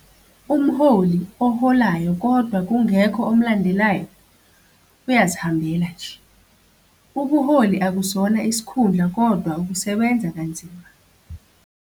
Umholi oholayo kodwa kungekho omlandelayo, uyazihambela nje. Ubuholi akusona isikhundla kodwa ukusebenza kanzima.